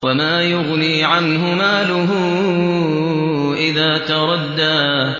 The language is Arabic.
وَمَا يُغْنِي عَنْهُ مَالُهُ إِذَا تَرَدَّىٰ